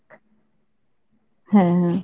হ্যাঁ হ্যাঁ।